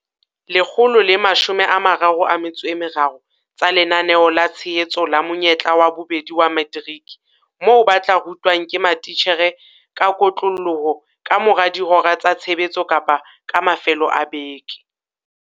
133 tsa Lenaneo la Tshehetso la Monyetla wa Bobedi wa Materiki moo ba tla rutwang ke matitjhere ka kotloloho ka mora dihora tsa tshebetso kapa ka mafelo a beke.